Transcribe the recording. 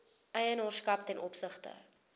eienaarskap ten opsigte